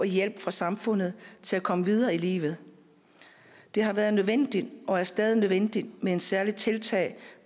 hjælp fra samfundet og til at komme videre i livet det har været nødvendigt og er stadig nødvendigt med et særligt tiltag